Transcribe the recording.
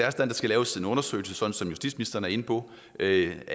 at der skal laves en undersøgelse sådan som justitsministeren er inde på er